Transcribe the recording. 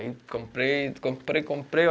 Aí comprei, comprei, comprei.